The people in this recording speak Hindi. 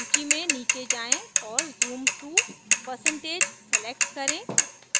सूची में नीचे जाएँ और zoom to % select करें